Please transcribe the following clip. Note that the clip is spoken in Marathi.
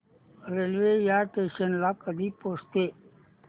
रेल्वे या स्टेशन ला कधी पोहचते